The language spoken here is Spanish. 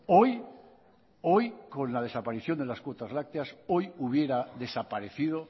hoy hoy con la desaparición de las cuotas lácteas hoy hubiera desaparecido